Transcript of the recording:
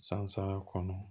San saba kɔnɔ